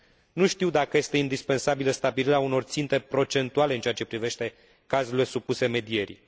Nu știu dacă este indispensabilă stabilirea unor ținte procentuale în ceea ce privește cazurile supuse medierii.